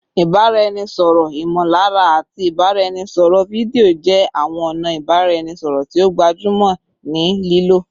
Ibaraẹnisọrọ imolara ati ibaraẹnisọrọ fidio jẹ awọn ọna ibaraẹnisọrọ ti o gbajumo ni lilo